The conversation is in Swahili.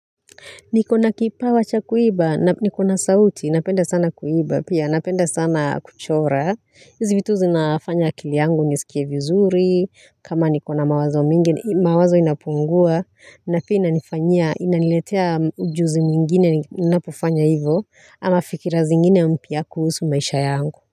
Nikona kipawa cha kuimba, na nikona sauti, napenda sana kuimba pia napenda sana kuchora, hizi vitu zinafanya kili yangu nisikie vizuri, kama nikona mawazo mingi, mawazo inapungua, na pia inanifanyia, inaniletea ujuzi mwingine, ninapo fanya hivyo, ama fikira zingine mpya kuhusu maisha yangu.